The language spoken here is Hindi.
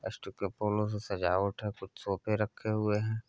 फूलों से सजावट है कुछ सोफे रखे हुए है।